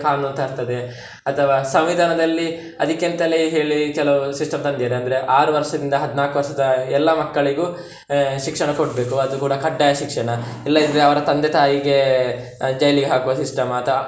ಕಾನೂನು ತರ್ತದೆ ಅಥವಾ ಸಂವಿಧಾನದಲ್ಲಿ ಅದಿಕ್ಕೆ ಅಂತಲೇ ಹೇಳಿ ಕೆಲವ್ system ತಂದಿದ್ದಾರೆ ಅಂದ್ರೆ ಆರು ವರ್ಷದಿಂದ ಹದಿನಾಲ್ಕು ವರ್ಷದ ಎಲ್ಲಾ ಮಕ್ಕಳಿಗೂ ಆಹ್ ಶಿಕ್ಷಣ ಕೊಡ್ಬೇಕು, ಅದು ಕೂಡ ಕಡ್ಡಾಯ ಶಿಕ್ಷಣ ಇಲ್ಲದಿದ್ರೆ ಅವರ ತಂದೆ ತಾಯಿಗೆ jail ಗೆ ಹಾಕುವ system ಅಥವಾ.